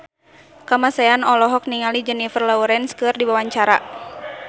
Kamasean olohok ningali Jennifer Lawrence keur diwawancara